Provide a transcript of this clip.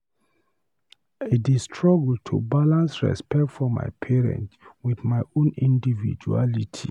I dey struggle to balance respect for my parent with my own individuality.